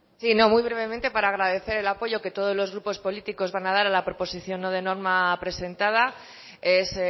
sí muy brevemente para agradecer el apoyo que todos los grupos políticos van a dar a la proposición no de norma presentada es